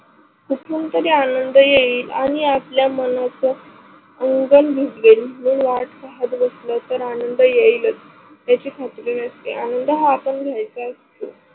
कुठून तरी आनंद येईल आणि आपल्या मनाच आनंद भिजवेल हि वाट पाहत बसल तर आनंद येईलच याची खात्री नसते आनंद हा आपण घ्यायचा असतो.